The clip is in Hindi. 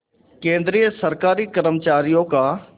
केंद्रीय सरकारी कर्मचारियों का